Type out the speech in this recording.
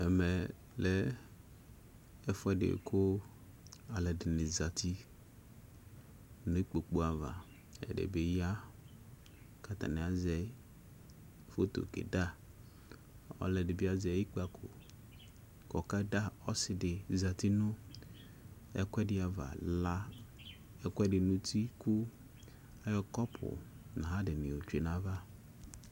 Ɛmɛ lɛ ɛfʋ ɛdi bʋa kʋ alʋ ɛdιnι zati nʋ ikpoku ava Ɛdιnι bι ya kʋ atanι azɛ foto keeda, ɔlʋ ɛdι bι azɛ ikpako kʋ ɔka da ɔsι dι zati nʋ ɛkʋɛdι ava ,la ɛkʋɛdι nʋ uti kʋ ayɔ kɔpʋ nʋ ayι adι nι tsyue nʋ ayʋ ava